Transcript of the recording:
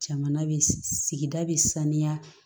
Jamana bɛ sigida bɛ sanuya